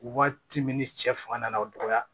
Waati min ni cɛ fanga nana o dɔgɔya